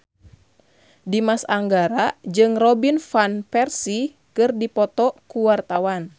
Dimas Anggara jeung Robin Van Persie keur dipoto ku wartawan